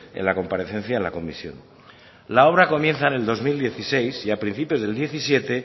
en la comparecencia de la comisión la obra comienza en el dos mil dieciséis y a principios del dos mil diecisiete